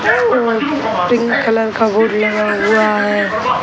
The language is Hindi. और पिंक कलर का बोर्ड लगा हुआ है।